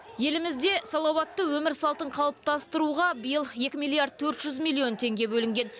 елімізде салауатты өмір салтын қалыптастыруға биыл екі миллиард төрт жүз миллион теңге бөлінген